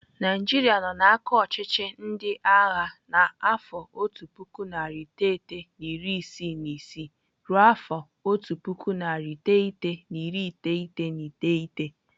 Naijiria nọ n'aka ọchịchị ndị agha n'afọ otu puku narị iteghete na iri isii na isii ruo afọ otu puku, narị iteghete na iri iteghete na iteghete.